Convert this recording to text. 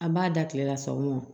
An b'a da tilela sa o ma